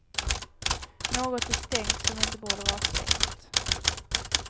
Något är stängt som inte borde vara stängt.